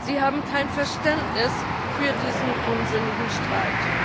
Sie haben kein Verständnis für diesen unsinnigen Streit.